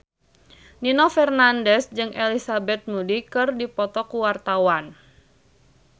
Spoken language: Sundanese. Nino Fernandez jeung Elizabeth Moody keur dipoto ku wartawan